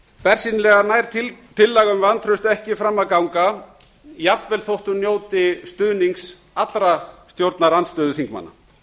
bersýnilega nær tillaga um vantraust ekki fram að ganga jafnvel fólst hún njóti stuðnings allra stjórnarandstöðuþingmanna